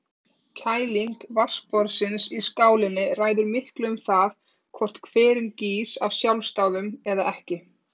Sólin skein á hvirfilinn á mér og gul fiðrildi sátu á sperrtum stráum.